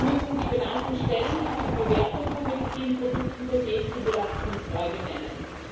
Sie müssen die benannten Stellen, die für die Bewertung von Medizinprodukte-Dossiers zugelassen sind, neu benennen.